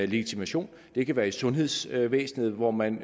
legitimationskort det kan være i sundhedsvæsenet hvor man